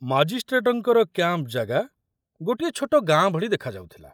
ମାଜିଷ୍ଟ୍ରେଟଙ୍କର camp ଜାଗା ଗୋଟିଏ ଛୋଟ ଗାଁ ଭଳି ଦେଖାଯାଉଥିଲା।